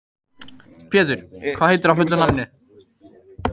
Pétur, hvað heitir þú fullu nafni?